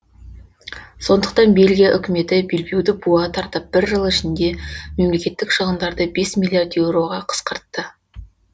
сондықтан бельгия үкіметі белбеуді буа тартып бір жыл ішінде мемлекеттік шығындарды бес миллиард еуроға қысқартты